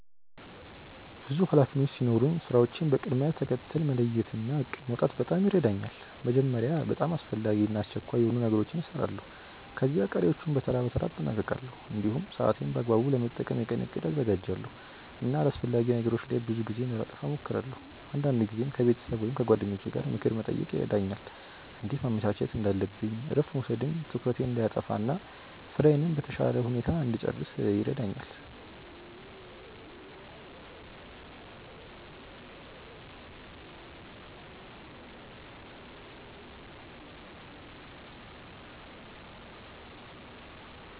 ብዙ ኃላፊነቶች ሲኖሩኝ ስራዎቼን በቅደም ተከተል መለየት እና እቅድ ማውጣት በጣም ይረዳኛል። መጀመሪያ በጣም አስፈላጊ እና አስቸኳይ የሆኑ ነገሮችን እሰራለሁ፣ ከዚያ ቀሪዎቹን በተራ በተራ አጠናቅቃለሁ። እንዲሁም ሰዓቴን በአግባቡ ለመጠቀም የቀን እቅድ አዘጋጃለሁ እና አላስፈላጊ ነገሮች ላይ ብዙ ጊዜ እንዳላጠፋ እሞክራለሁ። አንዳንድ ጊዜም ከቤተሰብ ወይም ከጓደኞቼ ምክር መጠየቅ ይረዳኛል እንዴት ማመቻቸት እንዳለብኝ እረፍት መውሰድም ትኩረቴን እንዳይጠፋ እና ስራዬን በተሻለ ሁኔታ እንድጨርስ ይረዳኛል።